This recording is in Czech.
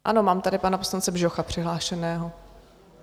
Ano, mám tady pana poslance Bžocha přihlášeného.